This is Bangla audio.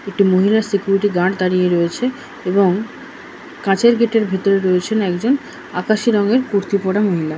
একটি মহিলা সিকিউরিটি গার্ড দাঁড়িয়ে রয়েছে এবং কাচের গেট এর ভেতরে রয়েছে একজন আকাশী রঙের কুর্তি পরা মহিলা।